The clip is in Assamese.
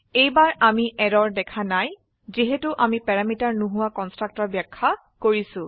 এইবাৰ আমি এৰৰ দেখা নাই যিহেতু আমি প্যাৰামিটাৰ নোহোৱা কন্সট্ৰাকটৰ ব্যাখ্যা কৰিছো